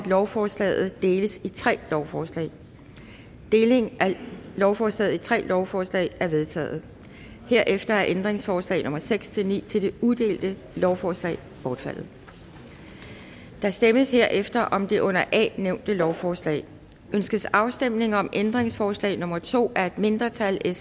at lovforslaget deles i tre lovforslag deling af lovforslaget i tre lovforslaget er vedtaget herefter er ændringsforslag nummer seks ni til det uddelte lovforslag bortfaldet der stemmes herefter om det under a nævnte lovforslag ønskes afstemning om ændringsforslag nummer to af et mindretal